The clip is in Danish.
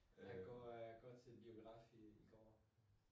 At går øh at går til biografen i går